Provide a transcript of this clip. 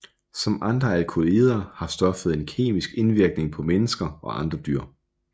Som andre alkaloider har stoffet en kemisk indvirkning på mennesker og andre dyr